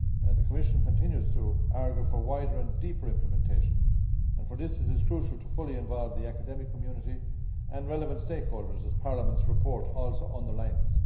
The Commission continues to argue for wider and deeper implementation, and for this it is crucial to fully involve the academic community and relevant stakeholders, as Parliament's report also underlines.